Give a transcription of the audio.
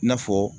I n'a fɔ